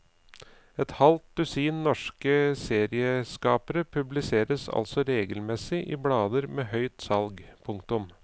Et halv dusin norske serieskapere publiseres altså regelmessig i blader med høyt salg. punktum